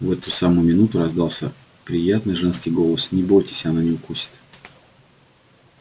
в эту самую минуту раздался приятный женский голос не бойтесь она не укусит